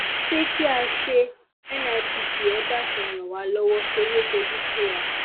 sé kí a ṣe nipt ẹ dákun ẹ ràn wá lọwọ torí ó tojú sú wa